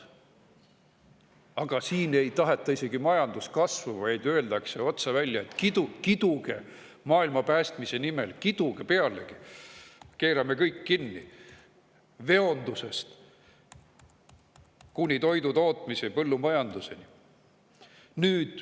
Aga siin isegi ei taheta majanduskasvu, vaid öeldakse otse välja, et kiduge maailma päästmise nimel, kiduge pealegi, keerame kõik kinni, veondusest kuni toidutootmise ja põllumajanduseni.